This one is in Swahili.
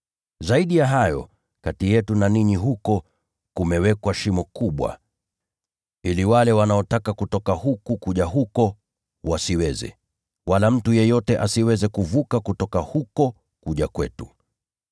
Zaidi ya hayo, kati yetu na ninyi huko kumewekwa shimo kubwa, ili wale wanaotaka kutoka huku kuja huko wasiweze, wala mtu yeyote asiweze kuvuka kutoka huko kuja kwetu.’